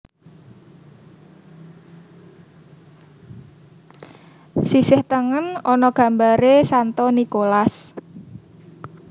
Sisih tengen ana gambaré Santo Nikolas